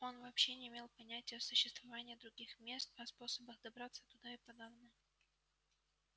он вообще не имел понятия о существовании других мест а о способах добраться туда и подавно